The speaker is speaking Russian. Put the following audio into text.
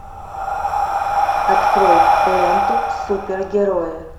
открой ленту супер герои